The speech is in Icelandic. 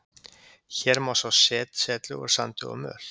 hér má sjá setlög úr sandi og möl